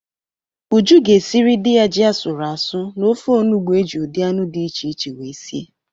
Uju ga-esiri di ya ji asụrụ asụ na ofe onubu eji ụdị anụ di iche iche wee sie